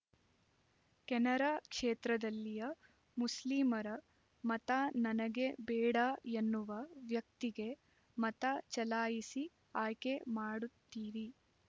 ಕೆನರಾ ಕ್ಷೇತ್ರದಲ್ಲಿಯ ಮುಸ್ಲಿಮರ ಮತ ನನಗೆ ಬೇಡಾ ಎನ್ನುವ ವ್ಯಕ್ತಿಗೆ ಮತ ಚಲಾಯಿಸಿ ಆಯ್ಕೆ ಮಾಡುತ್ತೀರಿ